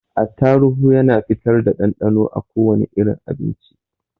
Attaruhu Yana fitar da ɗanɗanon a kowane irin abinci.